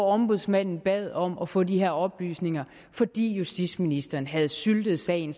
ombudsmanden bad om at få de her oplysninger fordi justitsministeren havde syltet sagen